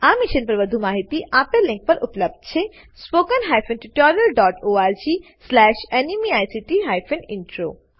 આ મિશન પર વધુ માહિતી spoken hyphen tutorial dot org slash NMEICT hyphen intro આ લીંક પર ઉપલબ્ધ છે